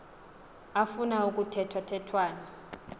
afuna kuthethwa thethwane